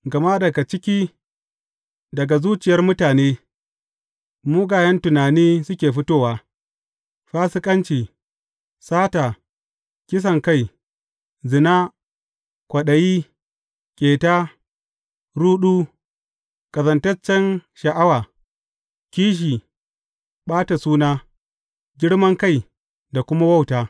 Gama daga ciki, daga zuciyar mutane, mugayen tunani suke fitowa, fasikanci, sata, kisankai, zina, kwaɗayi, ƙeta, ruɗu, ƙazantaccen sha’awa, kishi, ɓata suna, girman kai da kuma wauta.